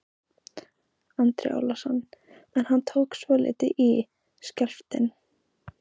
Andri Ólafsson: En hann tók svolítið í, skjálftinn?